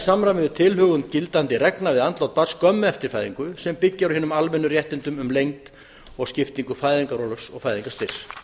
samræmi við tilhögun gildandi reglna við andlát barns skömmu eftir fæðingu sem byggist á hinum almennu réttindum um lengd og skiptingu fæðingarorlofs og fæðingarstyrks